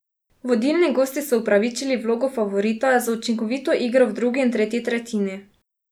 Vodilni gosti so upravičili vlogo favorita z učinkovito igro v drugi in tretji tretjini.